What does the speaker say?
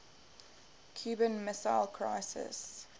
cuban missile crisis